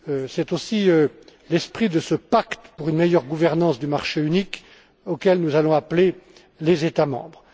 C'est aussi l'esprit de ce pacte pour une meilleure gouvernance du marché unique auquel nous allons appeler les États membres.